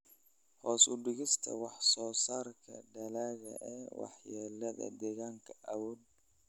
Hoos u dhigista wax-soo-saarka dalagga ee waxyeelada deegaanka awgeed.